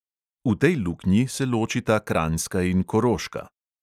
V tej luknji se ločita kranjska in koroška.